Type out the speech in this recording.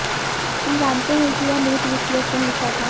हम जानते हैं कि यह मूत्र विश्लेषण लिखा था